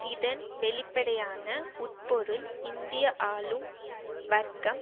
இதன் வெளிப்படையான உட்பொருள் இந்திய ஆளும் வர்க்கம்